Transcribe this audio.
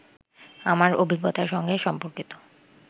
আমার অভিজ্ঞতার সঙ্গে সম্পর্কিত